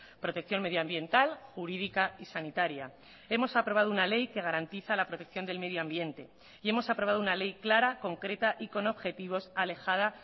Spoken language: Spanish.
protección medioambiental jurídica y sanitaria hemos aprobado una ley que garantiza la protección del medio ambiente y hemos aprobado una ley clara concreta y con objetivos alejada